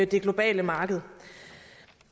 det globale marked